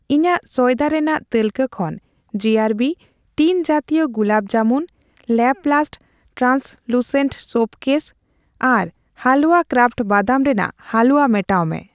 ᱤᱧᱟᱜ ᱥᱚᱭᱫᱟ ᱨᱮᱱᱟᱜ ᱛᱟᱹᱞᱠᱟᱹ ᱠᱷᱚᱱ ᱡᱤᱟᱨᱵᱤ ᱴᱤᱱ ᱡᱟᱛᱤᱭᱚ ᱜᱩᱞᱟᱵ ᱡᱟᱢᱩᱱ, ᱞᱟᱯᱞᱟᱥᱴ ᱴᱨᱟᱱᱥᱞᱩᱥᱮᱱᱴ ᱥᱳᱯ ᱠᱮᱥ ᱟᱨ ᱦᱟᱞᱣᱟ ᱠᱨᱟᱯᱷᱴ ᱵᱟᱫᱟᱢ ᱨᱮᱱᱟᱜ ᱦᱟᱞᱩᱣᱟ ᱢᱮᱴᱟᱣ ᱢᱮ ᱾